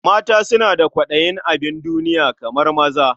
Mata suna da kwaɗayin abin duniya kamar maza.